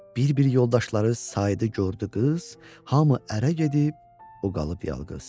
Bir-bir yoldaşları saydı, gördü qız, hamı ərə gedib, o qalıb yalqız.